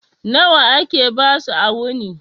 Nawa ake basu a wuni?